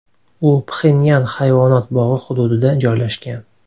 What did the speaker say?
U Pxenyan hayvonot bog‘i hududida joylashgan.